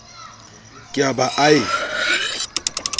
ke a ba a e